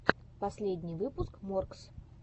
последний выпуск моргз